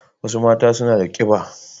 Wasu mata suna da ƙiɓa